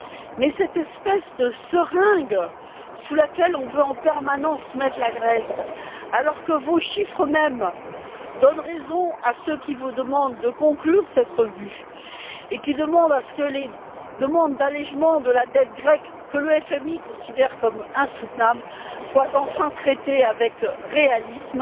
Mais cette espèce de seringue sous laquelle on veut en permanence mettre la Grèce, alors que vos chiffres mêmes donnent raison à ceux qui vous demandent de conclure cette évaluation et qui souhaitent que les demandes d'allégement de la dette grecque, que le FMI considère comme insoutenable, soient enfin traitées avec réalisme,